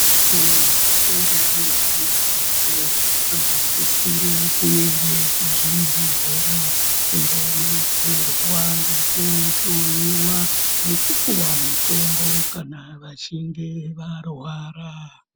Vantu vakura neana adoko vanosisire kuende kuzvibhedhlera kundodetserwa ngekuhloyiwa, nekupuwa mutombo kana vachinge varwara.